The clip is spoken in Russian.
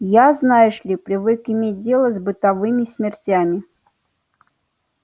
я знаешь ли привык иметь дело с бытовыми смертями